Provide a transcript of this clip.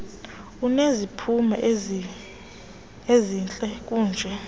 uneziphumo ezihle kanje